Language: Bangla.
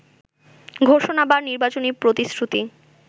ঘোষণা বা নির্বাচনী প্রতিশ্রুতি